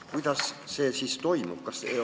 Kuidas see toimub?